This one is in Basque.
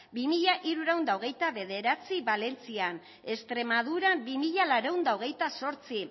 bi mila hirurehun eta hogeita bederatzi valentzian extremadura bi mila laurehun eta hogeita zortzi